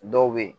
Dɔw bɛ yen